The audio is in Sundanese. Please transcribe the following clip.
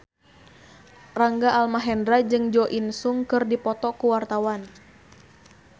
Rangga Almahendra jeung Jo In Sung keur dipoto ku wartawan